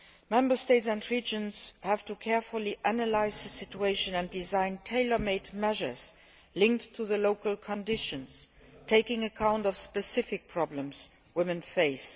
Member States and regions have to carefully analyse the situation and design tailor made measures linked to local conditions, taking account of the specific problems women face.